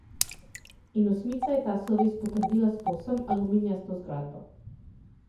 In osmica je ta sloves potrdila s povsem aluminijasto zgradbo.